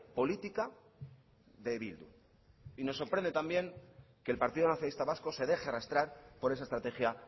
política de bildu y nos sorprende también que el partido nacionalista vasco se deje arrastrar por esa estrategia